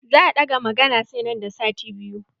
Za a ɗaga maganan sai nan da sati biyu.